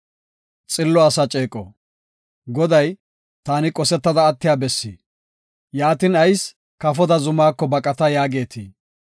Goday taani qosetada attiya bessi; yaatin ayis “Kafoda zumako baqata” yaagetii?